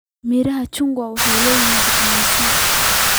Midhaha chungwa waxay leeyihiin fiitamiinka C.